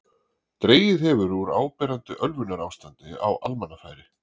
Dregið hefur úr áberandi ölvunarástandi á almannafæri.